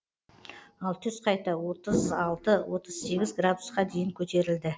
ал түс қайта отыз алты отыз сегіз градусқа дейін көтерілді